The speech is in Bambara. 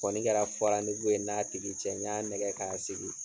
Kɔni kɛra ye n n'a tigi cɛ. N ya nɛgɛn ka sigi.